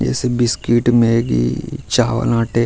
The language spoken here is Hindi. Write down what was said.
जैसे बिस्कुट मैगी चावल आटें --